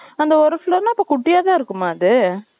அந்த ஒரு floor ல, அப்ப, குட்டியாதான் இருக்குமா, அது?